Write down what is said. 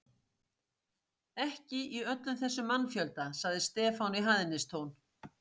Ekki í öllum þessum mannfjölda, sagði Stefán í hæðnistón.